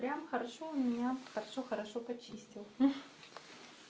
прям хорошо у меня хорошо хорошо почистил